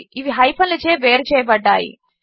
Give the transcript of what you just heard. ఇవి హైఫన్లచే వేరుచేయబడ్డాయి